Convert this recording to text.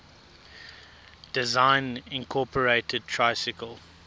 design incorporated tricycle